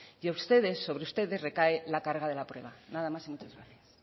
que ustedes sobre ustedes recaen la carga de la prueba nada más y muchas gracias